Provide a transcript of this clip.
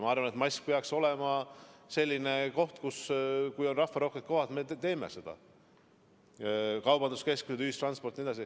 Ma arvan, et mask peaks olema selline asi, rahvarohketes kohtades: kaubanduskeskused, ühistransport jne.